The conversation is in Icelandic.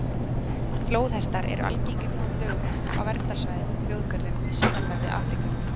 Flóðhestar eru algengir nú á dögum á verndarsvæðum og þjóðgörðum í sunnanverðri Afríku.